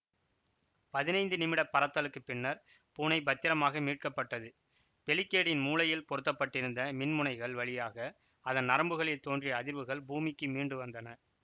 பதினைந்து நிமிடப் பறத்தலுக்குப் பின்னர் பூனை பத்திரமாக மீட்கப்பட்டது பெலிக்கேடின் மூளையில் பொருத்தப்பட்டிருந்த மின்முனைகள் வழியாக அதன் நரம்புகளில் தோன்றிய அதிர்வுகள் பூமிக்கு மீண்டு வந்தன